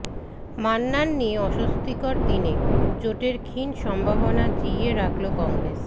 মান্নান নিয়ে অস্বস্তির দিনে জোটের ক্ষীণ সম্ভাবনা জিইয়ে রাখল কংগ্রেস